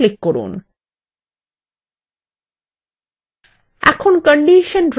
এখন condition drop down বাক্সতে click করুন